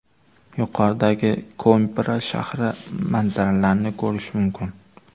Yuqoridan Koimbra shahri manzaralarini ko‘rish mumkin.